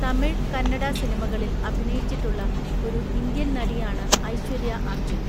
തമിഴ്, കന്നഡ സിനിമകളിൽ അഭിനയിച്ചിട്ടുള്ള ഒരു ഇന്ത്യൻ നടിയാണ് ഐശ്വര്യ അർജ്ജുൻ.